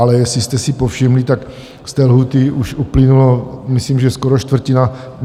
Ale jestli jste si povšimli, tak z té lhůty už uplynulo myslím že skoro čtvrtina.